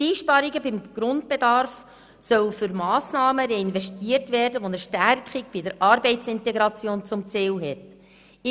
Einsparungen beim Grundbedarf sollen für Massnahmen reinvestiert werden, die eine Stärkung der Arbeitsintegration zum Ziel haben.